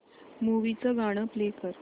movie चं गाणं play कर